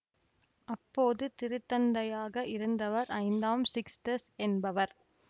அப்போது திருத்தந்தையாக இருந்தவர் ஐந்தாம் சிக்ஸ்டஸ் என்பவர்